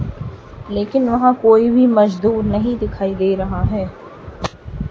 लेकिन वहाँ कोई भी मजदूर नहीं दिखाई दे रहा है।